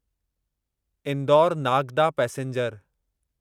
Indore Nagda passenger